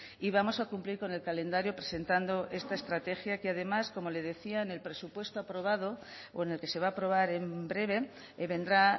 y vamos a cumplir con el calendario presentando esta estrategia que además como le decía en el presupuesto aprobado o en el que se va a aprobar en breve vendrá